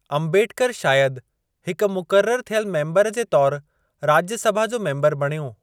अम्बेडकर शायदि हिक मुक़रर थियल मेम्बर तौर राज्य सभा जो मेम्बर बणियो।